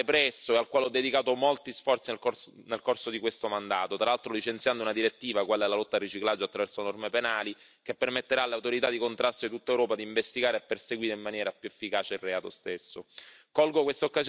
È un crimine che va represso e al quale ho dedicato molti sforzi nel corso di questo mandato, tra l'altro licenziando una direttiva quella sulla lotta al riciclaggio attraverso norme penali che permetterà alle autorità di contrasto di tutta Europa di investigare e perseguire in maniera più efficace il reato stesso.